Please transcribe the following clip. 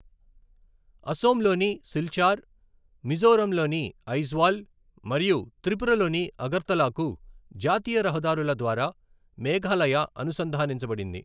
అసోమ్లోని సిల్చార్, మిజోరంలోని ఐజ్వాల్ మరియు త్రిపురలోని అగర్తలాకు జాతీయ రహదారుల ద్వారా మేఘాలయ అనుసంధానించబడింది.